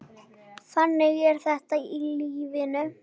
Þannig er þetta í lífinu.